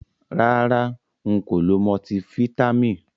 Rara, nko lo multiFítàmì.